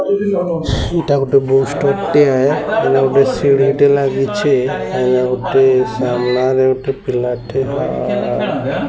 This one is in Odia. ଏଟା ଗୋଟେ ବୁକ୍ ଷ୍ଟୋର ଟିଏ ।